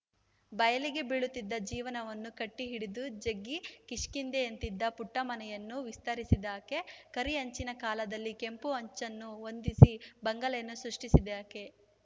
ಬಯಲಿಗೆ ಬೀಳುತ್ತಿದ್ದ ಜೀವನವನ್ನು ಕಟ್ಟಿಹಿಡಿದು ಜಗ್ಗಿ ಕಿಷ್ಕಿಂದೆಯಂತಿದ್ದ ಪುಟ್ಟಮನೆಯನ್ನು ವಿಸ್ತರಿಸಿದಾಕೆ ಕರಿ ಹೆಂಚಿನ ಕಾಲದಲ್ಲಿ ಕೆಂಪು ಹೆಂಚನ್ನು ಹೊಂದಿಸಿ ಬಂಗಲೆಯನ್ನು ಸೃಷ್ಟಿಸಿದಾಕೆ